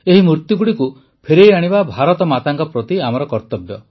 ଏହି ମୂର୍ତ୍ତିଗୁଡ଼ିକୁ ଫେରାଇଆଣିବା ଭାରତମାତାଙ୍କ ପ୍ରତି ଆମ କର୍ତ୍ତବ୍ୟ